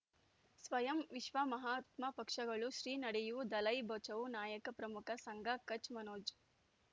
ಸ್ವಯಂ ವಿಶ್ವ ಮಹಾತ್ಮ ಪಕ್ಷಗಳು ಶ್ರೀ ನಡೆಯೂ ದಲೈ ಬಚೌ ನಾಯಕ ಪ್ರಮುಖ ಸಂಘ ಕಚ್ ಮನೋಜ್